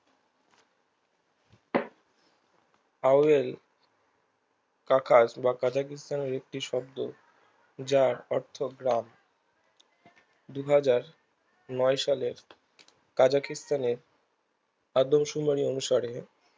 Powell আকাশ বা কাজাগিস্তানের একটি শব্দ যার অর্থ গ্রাম দু হাজার নয় সালের কাজাগিস্তানের আদবসুনার অনুসারে